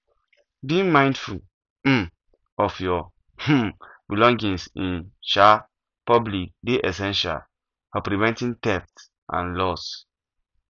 being mindful um of your um belongings in um public dey essential for preventing theft and loss